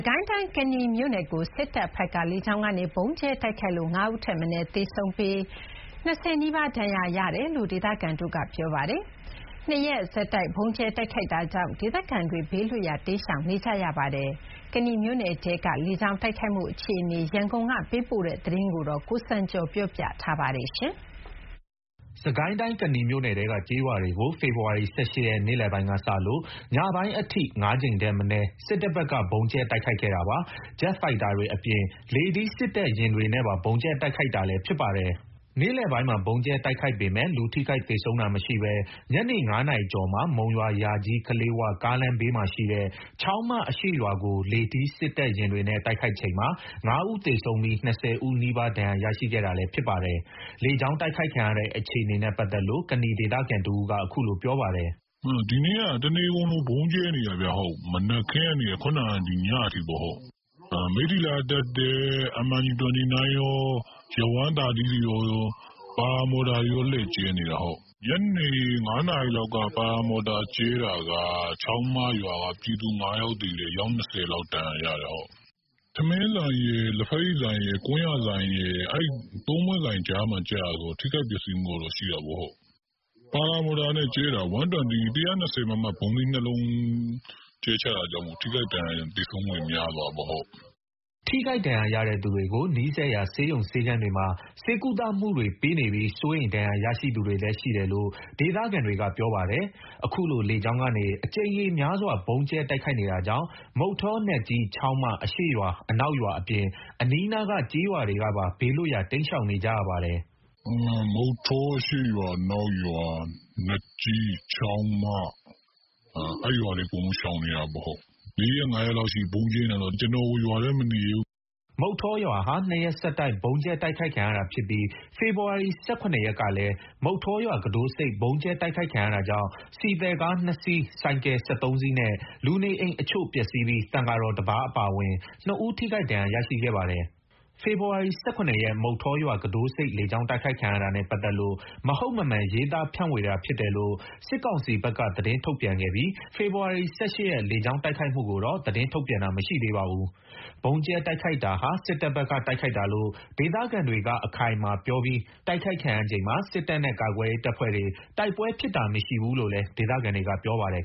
ကိုင်းတိုင်း ကနီမြို့နယ်ကို စစ်တပ်ဘက်က လေကြောင်းကနေ ဗုံးကြဲတိုက်ခိုက်လို့ ၅ ဦးထက်မနည်း သေဆုံးပြီး ၂၀ နီးပါး ဒဏ်ရာရရှိခဲ့တယ်လို့ ဒေသခံတွေက ပြောပါတယ်။ ၂ ရက်ဆက်တိုက် ဗုံးကြဲတိုက်ခိုက်တာကြောင့် ဒေသခံတွေ ဘေးလွတ်ရာ တိမ်းရှောင်နေကြပါတယ်။ ကနီမြို့နယ်ထဲက လေကြောင်းတိုက်ခိုက်မှု အခြေအနေ ရန်ကုန်က သတင်းပေးပို့ထားပါတယ်။ စစ်ကိုင်းတိုင်း ကနီမြို့နယ်ထဲက ကျေးရွာတွေကို ဖေဖော်ဝါရီ ၁၈ ရက် နေ့လည်ပိုင်းကစလို့ ညပိုင်းအထိ ၅ ကြိမ်ထက်မနည်း စစ်တပ်ဘက်က ဗုံးကြဲတိုက်ခိုက်ခဲ့တာပါ။ ဂျက်ဖိုက်တာတွေအပြင် လေထီး စက်တပ်ယာဉ်တွေနဲ့ပါ ဗုံးကြဲတိုက်ခိုက်တာလည်း ဖြစ်ပါတယ်။ နေ့လည်ပိုင်းမှာ ဗုံးကြဲတိုက်ခိုက်ပေမယ့် လူထိခိုက်သေဆုံးတာမရှိဘဲ ညနေ ၅ နာရီကျော်မှာ မုံရွာ-ယာကြီး-ကလေး၀ ကားလမ်းဘေးမှာရှိတဲ့ ချောင်းမအရှေ့ရွာကို လေထီး စက်တပ်ယာဉ်တွေနဲ့ တိုက်ခိုက်ချိန်မှာ ၅ ဦး သေဆုံးပြီး ၂၀ နီးပါး ထိခိုက်ဒဏ်ရာရခဲ့တာလည်း ဖြစ်ပါတယ်။ လေကြောင်းတိုက်ခိုက်ခံရတဲ့ အခြေအနေနဲ့ပတ်သက်လို့ ကနီဒေသခံတဦးက အခုလို ပြောပါတယ်။ "ဒီနေ့က တနေကုန်လို ဗုံးကြဲနေတာခင်ဗျ။ မနက်ခင်းကနေ ခုနက ညအထိပေါ့။ မိထ္ထီလာကတက်တဲ့ MIG 29 ကော Yak 130 တွေကော paramotor တွေကော လှည့်ကြဲနေတာ။ ညနေ ၅ နာရီလောက်မှာ paramotor ကြဲတာက ပြည်သူ ၅ ယောက်သေတယ်၊ အယောက် ၂၀ လောက် ဒဏ်ရာရတယ်။ ထမင်းဆိုင်ရယ်၊ လက်ဘက်ရည်ဆိုင်ရယ်၊ ကွမ်းယာဆိုင်ရယ် အဲ့ ၃ ပွင့်ဆိုင်ကြားမှာ ကျတာဆိုတော့ ထိခိုက်ပျက်စီးမှုတော့ ရှိတာပေါ့။ paramotor နဲ့ ကြဲတာ ၁၂၀ မမ ဗုံးသီး ၂ လုံး ကျတာဆိုတော့ ထိခိုက်ဒဏ်ရာရ သေဆုံးမှုတွေ များသွားတာပေါ့။" ထိခိုက်ဒဏ်ရာရတဲ့သူတွေကို နီးစပ်ရာ ဆေးရုံဆေးခန်းတွေမှာ ဆေးကုသမှုတွေပေးနေပြီး စိုးရိမ်ရတဲ့ ဒဏ်ရာရရှိသူတွေလည်း ရှိတယ်လို့ ဒေသခံတွေက ပြောပါတယ်။ အခုလို လေကြောင်းကနေ အကြိမ်ရေများစွာ ဗုံးကြဲတိုက်ခိုက်နေတာကြောင့် မုဌော၊ နတ်ကြီး၊ ချောင်းမ အရှေ့ရွာအနောက်ရွာအပြင် အနီးနားက ကျေးရွာတွေကပါ ဘေးလွတ်ရာ တိမ်းရှောင်နေကြပါတယ်။ "မုဌောအရှေ့ရွာ၊ အနောက်ရွာ၊ နတ်ကြီး၊ ချောင်းမ အဲ့ရွာတွေ အကုန်ရှောင်နေရတယ်။ ၄ ရက် ၅ ရက်လောက်ရှိနေပြီ ဗုံးကြဲနေတာဆိုတော့ ကျနော်ကို ရွာထဲမနေရဲဘူး။" မုဌောရွာဟာ ၂ ရက်ဆက်တိုက် ဗုံးကြဲတိုက်ခိုက်ခံရတာဖြစ်ပြီး ဖေဖော်ဝါရီ ၁၇ ရက်ကလည်း မုဌောရွာ ကူးတို့ဆိပ် ဗုံးကြဲတိုက်ခိုက်ခံရတာကြောင့် ဆီသယ်ကား ၂ စီး၊ ဆိုင်ကယ် ၁၃ စီးနဲ့ လူနေအိမ်အချို့ ပျက်စီးပြီး သံဃာတော်တပါးအပါအဝင် ၂ ဦး ထိခိုက်ဒဏ်ရာ ရရှိခဲ့ပါတယ်။ ဖေဖော်ဝါရီ ၁၇ ရက် မုဌောရွာ ကူးတို့ဆိပ် လေကြောင်းတိုက်ခိုက်ခံရတာနဲ့ ပတ်သက်လို့ မဟုတ်မမှန် ရေးသားဖြန့်ဝေတာ ဖြစ်တယ်လို့ စစ်ကောင်စီဘက်က သတင်းထုတ်ပြန်ခဲ့ပြီး ဖေဖော်ဝါရီ ၁၈ ရက် လေကြောင်းတိုက်ခိုက်မှုကိုတော့ သတင်းထုတ်ပြန်တာ မရှိသေးပါဘူး။ ဗုံးကြဲတိုက်ခိုက်တာဟာ စစ်တပ်ဘက်က တိုက်ခိုက်တာလို့ ဒေသခံတွေက အခိုင်အမာပြောပြီး တိုက်ခိုက်ခံရချိန်မှာ စစ်တပ်နဲ့ ကာကွယ်ရေးတပ်ဖွဲ့တွေ တိုက်ပွဲဖြစ်တာမရှိဘူးလို့လည်း ဒေသခံတွေက ပြောပါတယ်